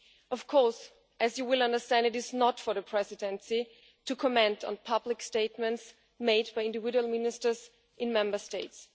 Of course, as you will understand, it is not for the Presidency to comment on public statements made by individual ministers in Member States.